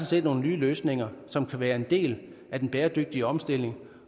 set nogle nye løsninger som kan være en del af den bæredygtige omstilling